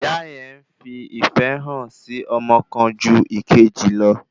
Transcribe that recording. Ìyá yẹn ń fi ìfẹ́ hàn sí ọmọ kan ju ìkejì lọ